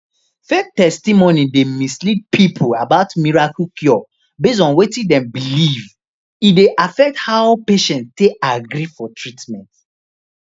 fake testimonies dey mislead people about miracle cure based on wetin dem believe and e dey affect how patients take agree for treatment